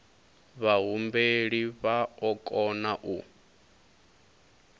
vhahumbeli vha o kona u